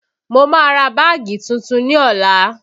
Mo má ra báàgì tuntun ní ọ̀la